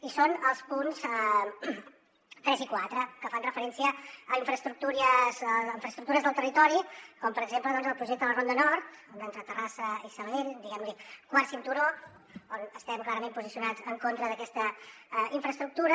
i són els punts tres i quatre que fan referència a infraestructures del territori com per exemple el projecte de la ronda nord entre terrassa i sabadell diguem li quart cinturó on estem clarament posicionats en contra d’aquesta infraestructura